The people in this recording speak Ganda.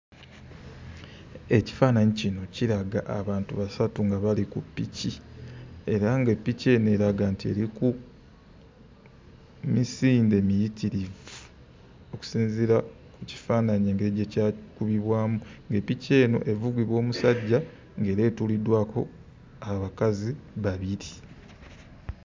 Ekifaananyi kino kiraga abantu basatu nga bali ku piki era nga piki eno eraga nti eri ku misinde miyitirivu okusinziira ku kifaananyi engeri gye kyakubibwamu. Nga piki eno evugibwa omusajja, ng'era etuuliddwako abakazi babiri.